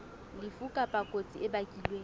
lefu kapa kotsi e bakilweng